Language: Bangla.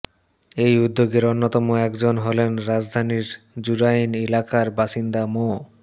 এই উদ্যোগের অন্যতম একজন হলেন রাজধানীর জুরাইন এলাকার বাসিন্দা মো